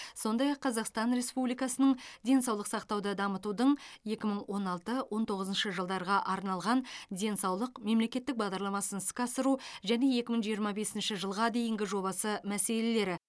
сондай ақ қазақстан республикасының денсаулық сақтауды дамытудың екі мың он алты он тоғызыншы жылдарға арналған денсаулық мемлекеттік бағдарламасын іске асыру және екі мың жиырма бесінші жылға дейінгі жобасы мәселелері